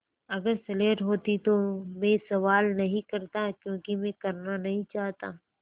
अगर स्लेट होती तो भी मैं सवाल नहीं करता क्योंकि मैं करना नहीं चाहता